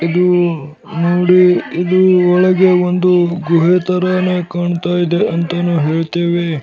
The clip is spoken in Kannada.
ಇದು ಮೂಡಿ ಇದು ಒಳಗೆ ಒಂದು ಗುಹೆ ತರಾನೇ ಕಾಣ್ತಾ ಇದೆ ಅಂತಾನೂ ಹೇಳ್ತಿವಿ .